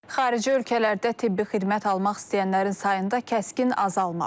Xarici ölkələrdə tibbi xidmət almaq istəyənlərin sayında kəskin azalma var.